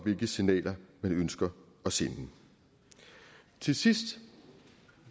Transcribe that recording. hvilke signaler man ønsker at sende til sidst